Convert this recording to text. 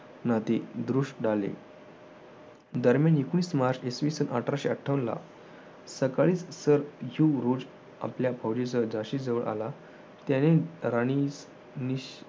नदी दृष्ट ढाले दरम्यान एकवीस मार्च अठराशे अठ्ठावन्नला सकाळी आपल्या फौजेसह झाशीजवळ आला त्याने राणीस